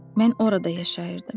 Mən orada yaşayırdım.